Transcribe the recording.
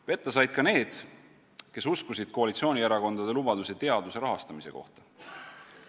Petta said ka need, kes uskusid koalitsioonierakondade lubadusi teaduse rahastamise kohta.